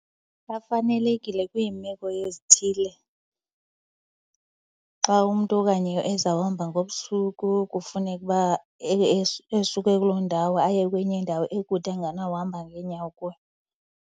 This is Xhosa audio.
Bafanelekile kwiimeko ezithile xa umntu okanye ezawuhamba ngobusuku kufuneke uba esuke kuloo ndawo aye kwenye indawo ekude engenawuhamba ngeenyawo kuyo.